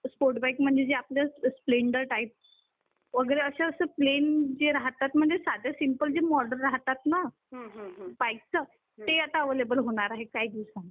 sports bike म्हणजे आपल्या Splendor type वगैरे असे जे प्लेन राहता म्हणजे साधी सिंपल चे मॉडेल राहतात ना, बाइक च ते आता अवेलेबल होणार आहेत काही दिवसांनी